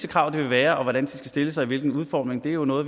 krav det vil være og hvordan de skal stilles og i hvilken udformning er jo noget